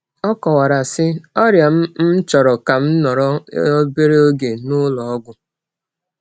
Ọ kọwara, sị: “Ọrịa m m chọrọ ka m nọrọ obere oge n’ụlọ ọgwụ.”